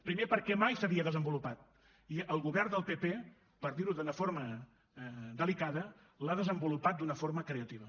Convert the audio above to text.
primer perquè mai s’havia desenvolupat i el govern del pp per dir ho d’una forma delicada l’ha desenvolupat d’una forma creativa